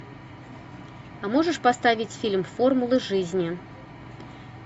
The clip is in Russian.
а можешь поставить фильм формулы жизни